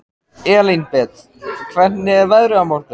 Elínbet, hvernig er veðrið á morgun?